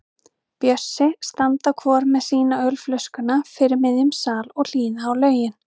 Bjössi standa hvor með sína ölflöskuna fyrir miðjum sal og hlýða á lögin.